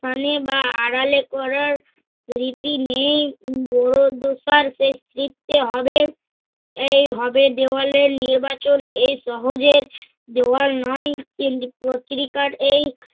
মানে বা আড়ালে করার রীতি নেই। শেষ কৃত্তি হবে। এই হবে দেওয়ালের নির্বাচন এই সহজের দেওয়াল নয়, কিন্তু পত্রিকার এই